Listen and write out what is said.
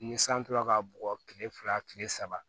Ni san tora ka bugɔ kile fila kile saba